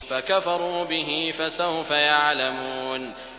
فَكَفَرُوا بِهِ ۖ فَسَوْفَ يَعْلَمُونَ